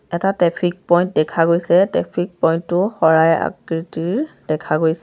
এটা traffic point দেখা গৈছে ট্ৰেফিক প'ইন্টটো শৰাই আকৃতিৰ দেখা গৈছে।